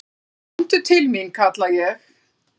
"""Komdu til mín, kalla ég."""